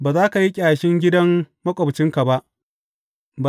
Ba za ka yi ƙyashin gidan maƙwabcinka ba.